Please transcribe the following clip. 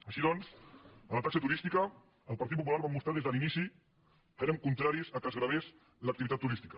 així doncs en la taxa turística el partit popular vam mostrar des de l’inici que érem contraris que es gravés l’activitat turística